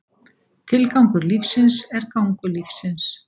Tilgangur lífsins er gangur lífsins.